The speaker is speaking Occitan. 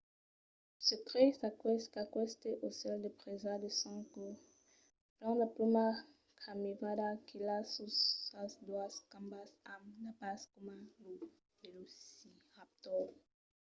se crei qu’aqueste aucèl de presa de sang caud plen de plumas caminava quilhat sus sas doas cambas amb d’arpas coma lo velociraptor